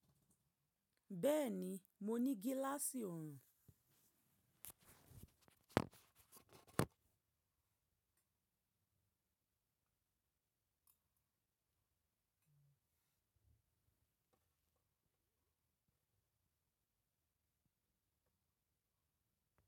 Bẹ́ẹ̀ni, mo ní gíláàsì ọ̀orún.